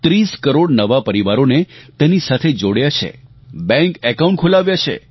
30 કરોડ નવા પરિવારોને તેની સાથે જોડ્યાં છે બેંક એકાઉન્ટ ખોલાવ્યાં છે